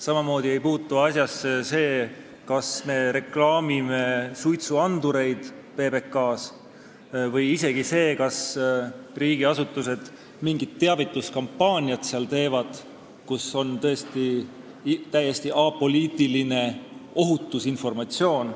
Samamoodi ei puutu asjasse see, kas me reklaamime PBK-s suitsuandureid, või isegi see, kas riigiasutused teevad seal mingit teavituskampaaniat, kus on tõesti täiesti apoliitiline ohutusinformatsioon.